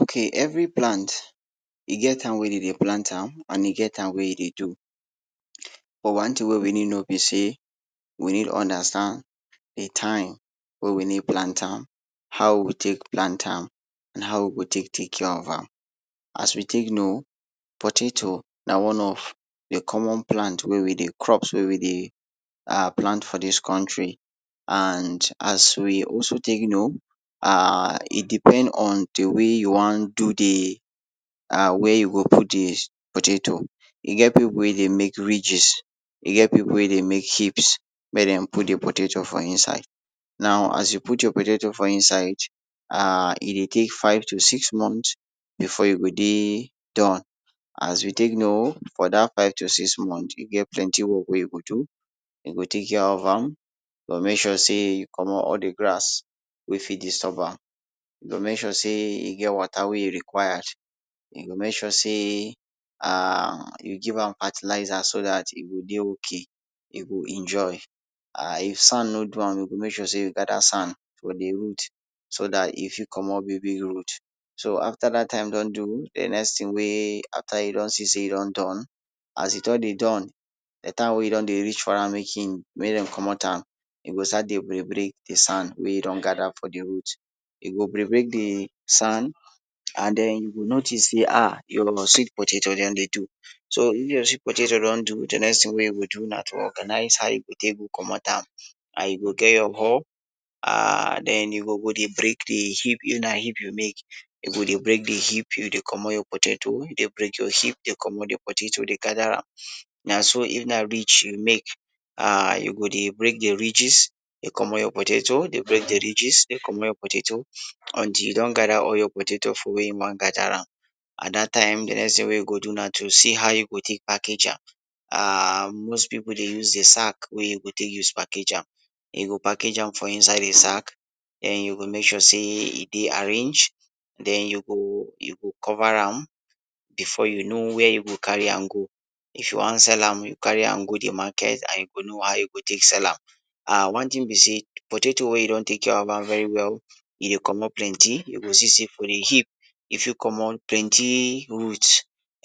Ok every plant, e get time wey dem de plant am and e get time wey e dey do, but one tin wey we no no be say, we need understand de time wey we need plant am, how we go take plant am, and how we go take take care of am. As we take no, potatoes na one of de common plant um crop wey we dey plant for dis country and as we also take no um e depend on de way you wan do di wey you go put wan do am de potatoes, e get pipu wey dey make ridges e get pipu wey make heaps make dem put de potatoes for inside now as you put your potatoes for inside um e dey take five to six months before e go de don, as you take no for dat five to six months e get plenty work wey you go do, you go take care of am, you go make sure say you comot all de grass wey fit disturb am, you go make sure sey e get water wey e go enquire, you go make sure say um you give am fertilizer so that e go dey ok, e go enjoy and if sand no do am e go make sure say you gather sand for de root so at e fit comot big bg root or after dat time de next tin wey after you don see say e don don, as e don done d time wey don dey reach for ma make Dem comot am e go start de break break de sand wey don gather for de root e go break break d sand and den you go notice say um your sweet potatoes don dey do, so if your sweet potatoes don do, de next tin wey you go do na to organize how you go take comot am and you go get your hoe um den you go go dey break your heap, if na heap you make you dey break de heap dey comot your potatoes, dey break your heaps de comot your potatoes dey gather. Na so if na ridges you make, um you go de break de ridges dey comot your potatoes dey break de ridges dey break d potatoes until you don gather all de potatoes for where you wan gather am, and dat time de next tin you go see how you go take package am um most pipu de use de sack wey dey go use package am. You go package am for inside di sack den you go make sure say de arrange dem you go cover am before you go no where you go carry am go. If you wan sell am you go carry am go de market and you go no how you go take sell am one tin be sey potatoes wey you don take care of am very well e go comot plenty you go see say de heap e fit comot plenty root